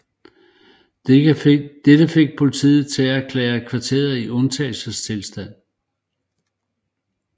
Dette fik politiet til at erklære kvarteret i undtagelsestilstand